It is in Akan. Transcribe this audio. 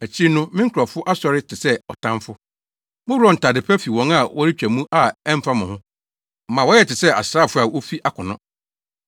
Akyiri no me nkurɔfo asɔre te sɛ ɔtamfo. Moworɔw ntade pa fi wɔn a wɔretwa mu a ɛmfa mo ho, ma wɔyɛ te sɛ asraafo a wofi akono.